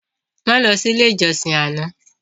Má lọ sí ilé ìjọsìn àná